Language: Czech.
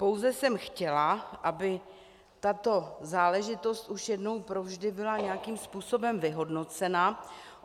Pouze jsem chtěla, aby tato záležitost už jednou provždy byla nějakým způsobem vyhodnocena.